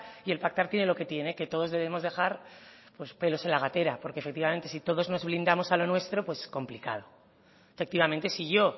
y el pactar tiene lo que tiene que todos debemos dejar pues pelos en la gatera porque efectivamente si todos nos blindamos a lo nuestro pues complicado efectivamente si yo